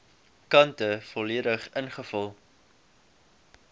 kante volledig ingevul